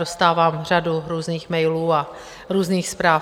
Dostávám řadu různých mailů a různých zpráv.